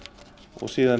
og síðan